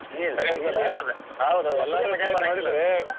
ಹೇ ಸರಿ ಅನ್ಸಲ್ಲ ಅದು